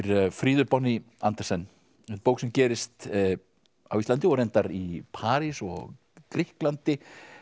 Fríðu Andersen bók sem gerist á Íslandi og reyndar í París og Grikklandi